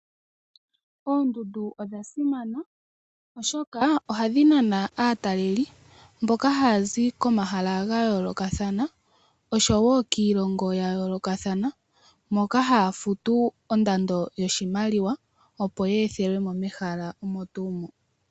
Oondundu odha simana oshoka ohadhi nana aatalelelipo mboka haya zi komahala gayoolokathana osho wo kiilongo yayoolokathana moka haya futu ondando yoshimaliwa opo ya ethelwe mo mehala omo tuu mo.